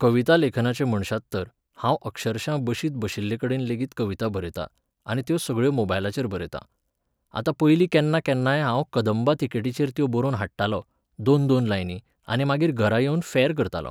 कविता लेखनाचें म्हणशात तर, हांव अक्षरशां बशींत बशिल्लेकडेन लेगीत कविता बरयतां, आनी त्यो सगळ्यो मोबायलाचेर बरयतां. आतां पयलीं केन्ना केन्नाय हांव कंदबां तिकेटीचेर त्यो बरोवन हाडटालों, दोन दोन लायनी, आनी मागीर घरा येवन फॅर करतालों.